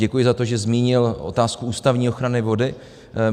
Děkuji za to, že zmínil otázku ústavní ochrany vody.